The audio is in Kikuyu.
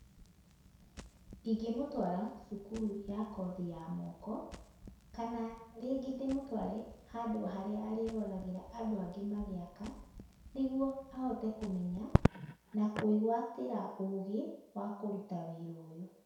Ingĩmũtwara cukuru ya kothi ya moko, kana rĩngĩ ndĩmũtware handũ harĩa arĩĩroragĩra andũ angĩ magĩaka, nĩguo ahote kũmenya na kwĩgwatĩra ũgĩ wa kũruta wĩra ũyũ.